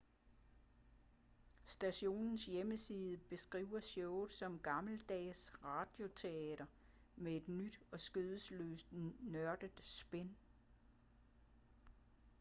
stationens hjemmeside beskriver showet som gammeldags radioteater med et nyt og skandaløst nørdet spin